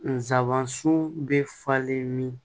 Nsabansun bɛ falen min